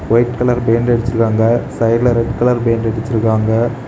White colour paint அடிச்சிருக்காங்க சைடுல red colour paint அச்சிருக்காங்க.